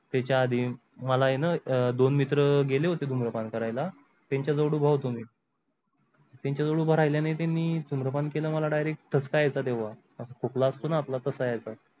त्याची आधी मला आहे न दोन मित्र गेले होते धुम्रपान करायला त्यांचा जवळ उभा होतो मी त्यंचा जवळ उभा राहील्यानी ते मी धुम्रपान केल मला direct ठसका येत तेव्हा खोकला असतो न आपला तस यायचा.